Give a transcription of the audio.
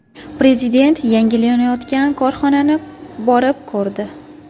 Prezident yangilanayotgan korxonani borib ko‘rdi.